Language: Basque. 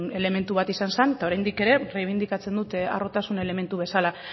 elementu bat izan zen eta oraindik ere erreibindikatzen dut harrotasun elementu bezala